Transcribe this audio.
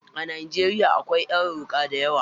A najeriya akwai yaruka dayawa.